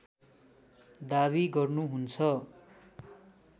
दाबी गर्नुहुन्छ